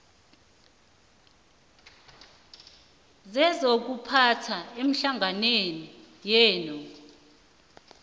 sezokuphatha ehlanganweni yenu